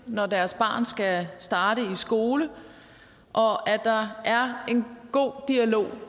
når deres barn skal starte i skole og at der er en god dialog